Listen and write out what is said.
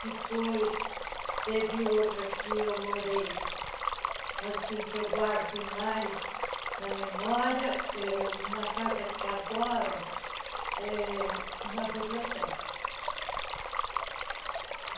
Depois teve outra que eu morei, assim, que eu guardo mais na memória eh, uma casa que agora é uma biblioteca.